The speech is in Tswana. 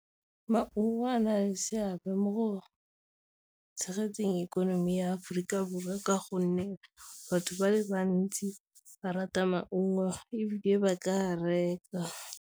Maungo a na le seabe mo go tshegetseng ikonomi ya Aforika Borwa, ka gonne batho ba le bantsi ba rata maungo ebile e ba ka a reka.